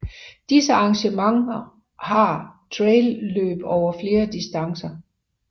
Disse arrangement har trailløb over flere distancerne